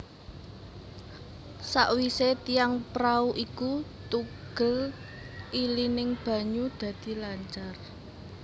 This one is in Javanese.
Sawise tiang prau iku tugel ilining banyu dadi lancar